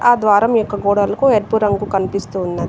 ఆ ద్వారం యొక్క గోడలకు ఎరుపు రంగు కనిపిస్తూ ఉన్నది.